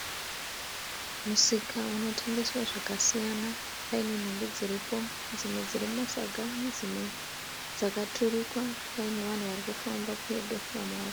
Musika unotengeswa zvakasiyana. Paine nhumbi dziripo dzimwe dziri mumasaga dzimwe dzakaturikwa paine vanhu varikufamba pedo.